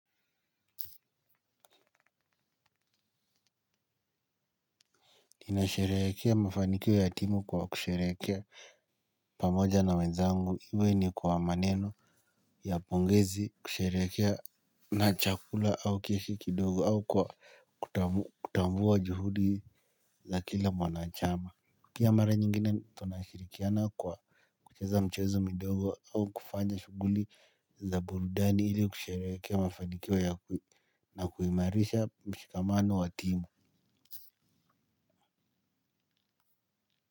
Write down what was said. Ninasherehekea mafanikio ya timu kwa kusherehekea pamoja na wenzangu iwe ni kwa maneno ya pongezi kusherekea na chakula au kiasi kidogo au kwa kutambua juhudi za kila mwanachama. Pia mara nyingine tunashirikiana kwa kucheza mchezo midogo au kufanya shughuli za burudani ili kusherehekea mafanikio ya kuimarisha mshikamano wa timu.